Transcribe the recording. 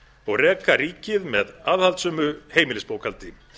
og reka ríkið með aðhaldssömu heimilisbókhaldi